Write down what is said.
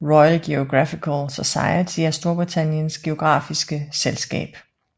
Royal Geographical Society er Storbritanniens geografiske selskab